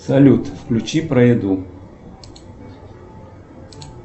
салют включи про еду